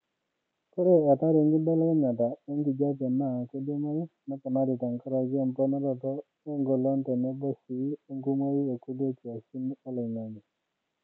Ore athari enkibelekenyata enkijiepe naa keidimayu neponari tenkaraki emponaroto engolon tenebo sii enkumoi ekulie kiasin oloingange.